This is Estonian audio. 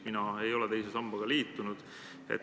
Mina ei ole teise sambaga liitunud.